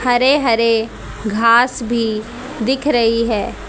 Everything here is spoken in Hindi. हरे हरे घास भी दिख रही है।